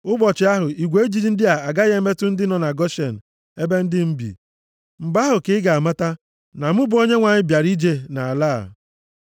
“ ‘Nʼụbọchị ahụ, igwe ijiji ndị a agaghị emetụ ndị nọ na Goshen ebe ndị m bi. Mgbe ahụ ka ị ga-amata na mụ bụ Onyenwe anyị bịara ije nʼala a.